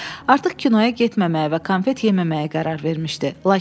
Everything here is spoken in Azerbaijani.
Artıq kinoya getməməyə və konfet yeməməyə qərar verilmişdi.